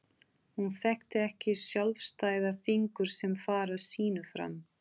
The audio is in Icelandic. Hún þekkti ekki sjálfstæða fingur sem fara sínu fram.